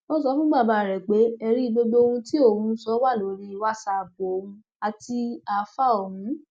ó sọ fún bàbá rẹ pé ẹrí gbogbo ohun tí òun ń sọ wà lórí wàsápù òun àti ááfáà ọhún